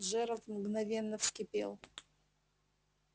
джералд мгновенно вскипел